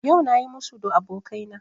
Yau na yi musu da abokaina